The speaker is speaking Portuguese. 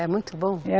É muito bom. É